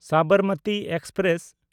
Sabarmati express